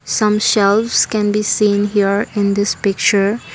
some shelfes can be seen here in this picture.